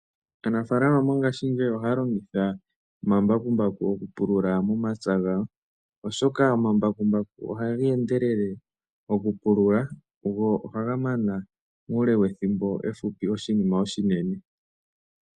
Aanafaalama mongaashingeyi ohaya longitha omambakumbaku goku pulula momapya gawo, oshoka omambakumbaku ohaga endelele oku pulula, go ohaga mana muule wethimbo efupi oshinima oshinene.